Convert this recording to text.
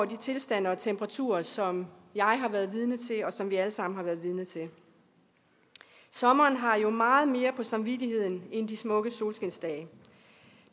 de tilstande og temperaturer som jeg har været vidne til og som vi alle sammen har været vidne til sommeren har jo meget mere på samvittigheden end de smukke solskinsdage